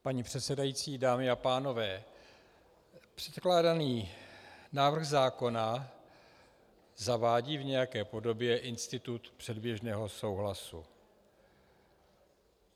Paní předsedající, dámy a pánové, předkládaný návrh zákona zavádí v nějaké podobě institut předběžného souhlasu.